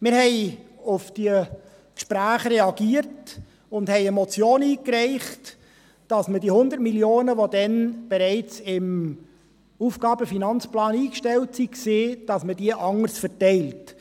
» Wir haben auf diese Gespräche reagiert und haben eine Motion eingereicht, dass man die 100 Mio. Franken, die damals bereits im Aufgaben- und Finanzplan (AFP) eingestellt waren, anderes verteilt.